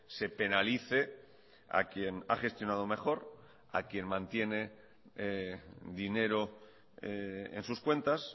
se penalice a quien ha gestionado mejor a quien mantiene dinero en sus cuentas